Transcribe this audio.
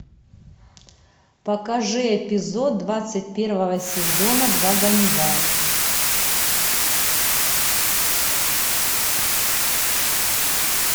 покажи эпизод двадцать первого сезона два ганнибала